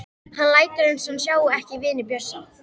Hann lætur eins og hann sjái ekki vini Bjössa.